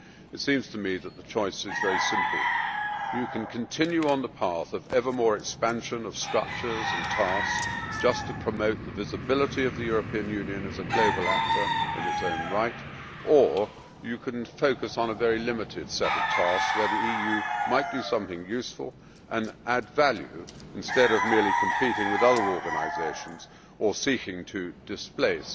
It seems to me that the choice is very simple you can continue on the path of ever more expansion of structures and tasks just to promote the visibility of the European Union as a global actor in its own right, or you can focus on a very limited set of tasks where the EU might do something useful and add value instead of merely competing with other organisations or seeking to displace